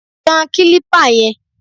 Tan kílípà yẹn!